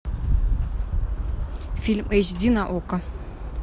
фильм эйч ди на окко